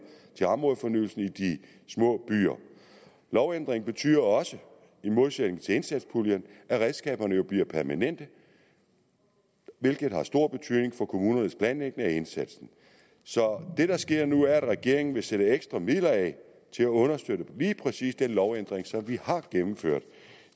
til områdefornyelsen i de små byer lovændringen betyder også i modsætning til indsatspuljen at redskaberne jo bliver permanente hvilket har stor betydning for kommunernes planlægning af indsatsen det der sker nu er at regeringen vil sætte ekstra midler af til at understøtte lige præcis den lovændring som vi har gennemført